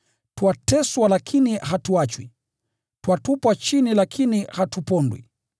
twateswa lakini hatuachwi; twatupwa chini lakini hatupondwi.